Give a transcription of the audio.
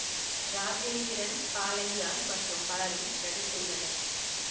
ராஜேந்திரன் பாலைய்யா மற்றும் பலரும் நடித்துள்ளனர்